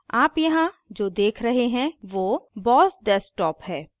आप यहाँ जो देख रहे हैं वो boss desktop है